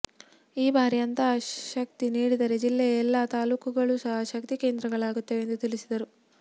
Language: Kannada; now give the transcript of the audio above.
ಈ ಭಾರಿ ಅಂತಹ ಶಕ್ತಿ ನೀಡಿದರೆ ಜಿಲ್ಲೆಯ ಎಲ್ಲಾ ತಾಲ್ಲೂಕುಗಳು ಸಹ ಶಕ್ತಿ ಕೇಂದ್ರಗಳಾಗುತ್ತವೆ ಎಂದು ತಿಳಿಸಿದರು